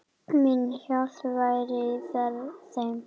Mín hjálp væri í þeim.